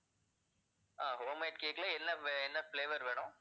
ஆஹ் homemade cake ல என்ன வ~ என்ன flavor வேணும்?